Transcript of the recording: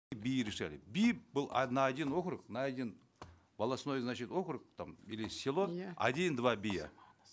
бии решали бий был а на один округ на один волостной значит округ там или село один два бия